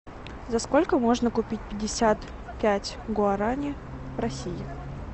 за сколько можно купить пятьдесят пять гуарани в россии